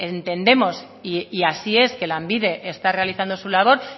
entendemos y así es que lanbide está realizando su labor